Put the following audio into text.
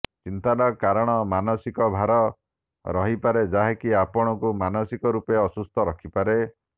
ଚିନ୍ତାର କାରଣ ମାନସିକ ଭାର ରହିପାରେ ଯାହାକି ଆପଣଙ୍କୁ ମାନସିକ ରୂପରେ ଅସୁସ୍ଥ ରଖିପାରେ